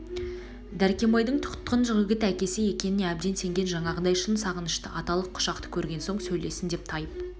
дәркембайдың тұтқын жігіт әкесі екеніне әбден сенген жаңағыдай шын сағынышты аталық құшақты көрген соң сөйлессін деп тайып